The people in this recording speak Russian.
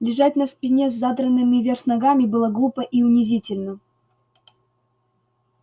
лежать на спине с задранными вверх ногами было глупо и унизительно